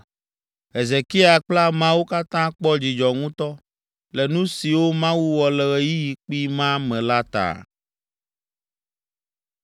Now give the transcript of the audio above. Hezekia kple ameawo katã kpɔ dzidzɔ ŋutɔ le nu siwo Mawu wɔ le ɣeyiɣi kpui ma me la ta.